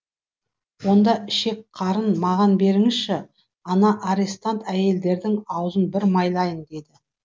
онда ішек қарнын маған беріңізші ана арестант әйелдердің аузын бір майлайын деді